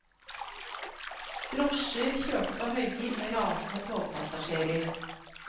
Drosjer kjørte på høygir med rasende togpassasjerer.